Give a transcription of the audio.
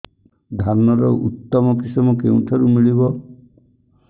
ଧାନର ଉତ୍ତମ କିଶମ କେଉଁଠାରୁ ମିଳିବ